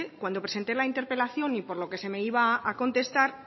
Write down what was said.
cuando presenté la interpelación y por lo que me iba a contestar